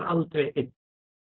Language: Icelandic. aldrei einn